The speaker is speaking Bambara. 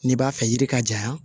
N'i b'a fɛ yiri ka janya